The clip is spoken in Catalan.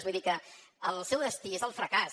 vull dir que el seu destí és el fracàs